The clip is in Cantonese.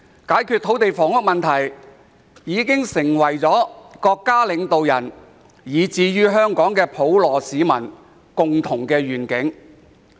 解決土地房屋問題已經成為國家領導人，以至香港普羅市民的共同願景。